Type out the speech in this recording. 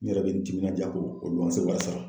N yɛrɛ bɛ n timinanja k'o wari sara.